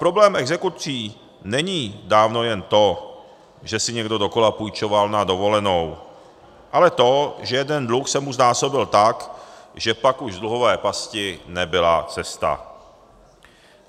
Problém exekucí není dávno jen to, že si někdo dokola půjčoval na dovolenou, ale to, že jeden dluh se mu znásobil tak, že pak už z dluhové pasti nebyla cesta.